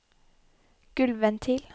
gulvventil